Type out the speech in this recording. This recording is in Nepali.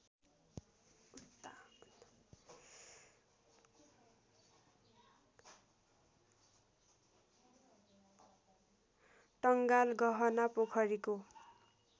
टङ्गाल गहनापोखरीको